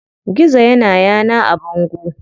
Gizo ya na yana a bango.